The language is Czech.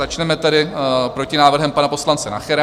Začneme tedy protinávrhem pana poslance Nachera.